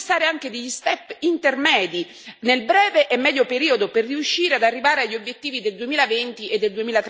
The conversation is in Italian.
Occorre fissare anche degli step intermedi nel breve e medio periodo per riuscire ad arrivare agli obiettivi del 2020 e del